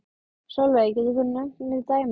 Sólveig: Getur þú nefnt mér dæmi?